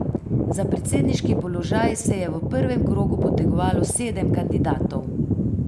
Za predsedniški položaj se je v prvem krogu potegovalo sedem kandidatov.